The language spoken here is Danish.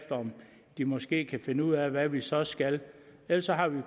de måske kan finde ud af hvad vi så skal ellers har vi